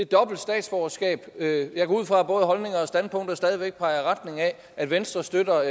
dobbelt statsborgerskab jeg går ud fra at både holdninger og standpunkter stadig væk peger i retning af at venstre støtter